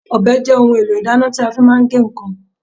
Ọbẹ̀ jẹ́ ohun èlò ìdáná tí a fi máa ń ge nǹkan.